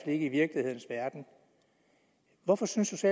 ikke i virkelighedens verden hvorfor synes